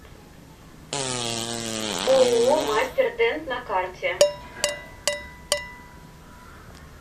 ооо мастер дент на карте